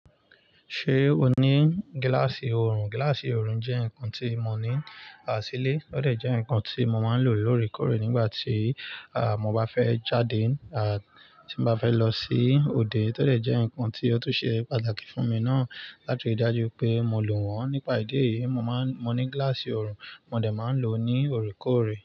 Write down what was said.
Ṣé o ní gíláàsì orun? Gíláàsì orun jẹ́ nǹkan tí mo ní ní ìsìlẹ̀, ó dà jẹ́ nǹkan tí mo máa ń lò lórèkórè nígbà tí, mo bá fẹ́ jáde, tí mo bá fẹ́ lọ sí òde. Ó de jẹ́ nǹkan tí ó tún ṣe pàtàkì fún mi náà láti dájú pé mo lò wọ́n nípa ìdí èyí. Mo máa ń, mo ní gíláàsì orun, mo dà máa ń lò ó ní orí kọ̀rẹ̀.